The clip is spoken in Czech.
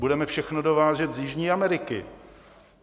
Budeme všechno dovážet z Jižní Ameriky.